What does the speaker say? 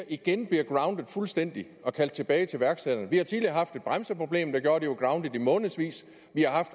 igen bliver grounded fuldstændig og kaldt tilbage til værkstederne vi har tidligere haft et bremseproblem der gjorde at de var grounded i månedsvis og vi har haft